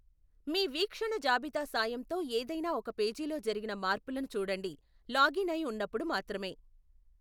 మీ వీక్షణ జాబితా సాయంతో ఏదైనా ఒక పేజీ లో జరిగిన మార్పులను చూడండి లాగిన్ అయి ఉన్నపుడు మాత్రమే.